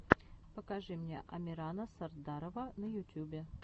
покажи мне амирана сардарова на ютюбе